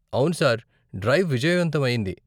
అవును sir, drive విజయవంతం అయింది.